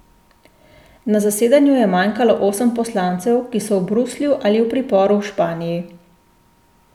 Na zasedanju je manjkalo osem poslancev, ki so v Bruslju ali v priporu v Španiji.